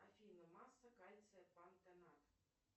афина масса кальция пантенат